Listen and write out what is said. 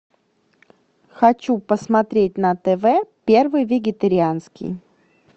хочу посмотреть на тв первый вегетарианский